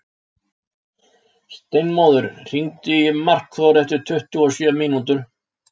Steinmóður, hringdu í Markþór eftir tuttugu og sjö mínútur.